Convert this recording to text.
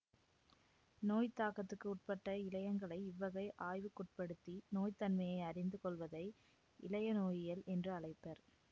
நோய்த் தாக்கத்துக்கு உட்பட்ட இழையங்களை இவ்வகை ஆய்வுக்குட்படுத்தி நோய்த்தன்மையை அறிந்து கொள்வதை இழையநோயியல் என்று அழைப்பர்